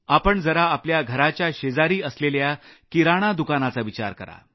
आपण जरा आपल्या घराच्या शेजारी असलेलं किराणा दुकानाचा विचार करा